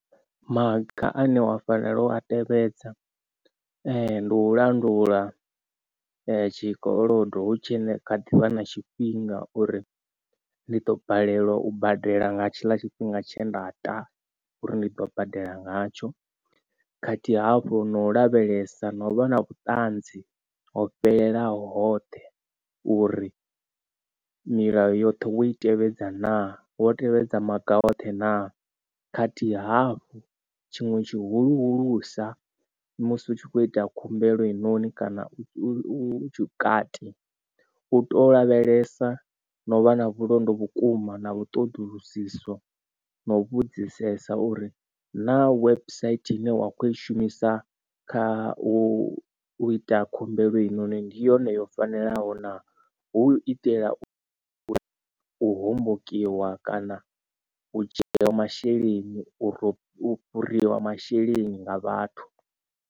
Maga ane wa fanela u a tevhedza ndi u landula tshikolodo hu tshi kha ḓivha na tshifhinga uri ndi ḓo balelwa u badela nga tshiḽa tshifhinga tshe nda ta uri ndi ḓo badela ngatsho khathihi hafhu no lavhelesa no vha na vhuṱanzi ho fhelelaho hoṱhe uri milayo yoṱhe wo i tevhedza naa wo tevhedza maga oṱhe na khathihi hafhu. Tshiṅwe tshihulusa musi utshi kho ita khumbelo heinoni kana u kati u to lavhelesa na u vha na vhulondo vhukuma na vhu ṱoḓulusisa na u vhudzisesa uri na website ine wa khou i shumisa kha u ita khumbelo heinoni ndi yone yo fanelaho na hu u itela u u hombokiwa kana u dzhieliwa masheleni uri fhuriwa masheleni nga vhathu.